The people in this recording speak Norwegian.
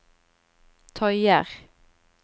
tøyer